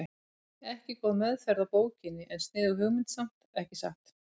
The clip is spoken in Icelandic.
Ekki góð meðferð á bókinni en sniðug hugmynd samt, ekki satt?